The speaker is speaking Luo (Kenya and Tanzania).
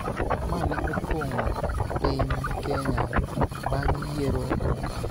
ma ne opong�o piny Kenya bang� yiero mokalo,